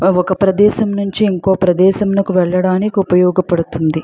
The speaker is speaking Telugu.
ఆ ఒక ప్రదేశము నుంచి ఇంకో ప్రదేశమునకు వెళ్లడానికి ఉపయోగపడుతుంది.